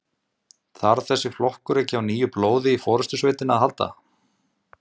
Þarf þessi flokkur ekki á nýju blóði í forystusveitina að halda?